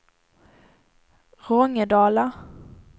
Rångedala